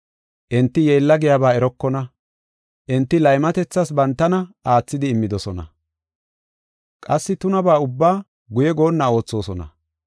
Enti yeella giyaba erokona; enti laymatethas bantana aathidi immidosona; qassi tunabaa ubbaa guye goonna oothosona.